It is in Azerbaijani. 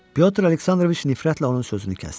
Pətr Aleksandroviç nifrətlə onun sözünü kəsdi.